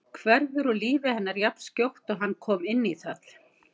Hverfur úr lífi hennar jafnskjótt og hann kom inn í það.